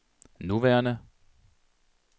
nuværende